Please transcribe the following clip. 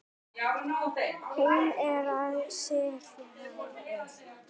Hún er að stirðna upp.